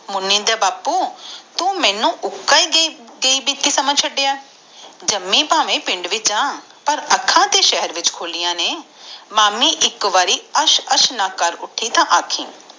ਮੋਨਿ ਦੇ ਬਾਪੂ ਤੂੰ ਮੇਨੂ ਉੱਕਾ ਏ ਸਮਝਿਆ ਚੜਿਆ ਜਾਮਿ ਪਾਵੇ ਪਿੰਡ ਵਿਚ ਆ ਪਰ ਅੱਖਾਂ ਤਾ ਸ਼ਹਿਰ ਵਿਚ ਖੋਲਿਆ ਨੇ ਮਾਮੀ ਇਕ ਵਾਰੀ ਅਸ਼ ਅਸ਼ ਨਾ ਕਰ ਛਡਿ ਤਾ ਦਸੀ